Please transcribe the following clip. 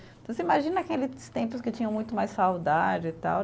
Então, você imagina aqueles tempos que tinham muito mais saudade e tal.